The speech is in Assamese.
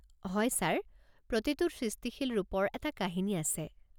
হয়, ছাৰ। প্ৰতিটো সৃষ্টিশীল ৰূপৰ এটা কাহিনী আছে।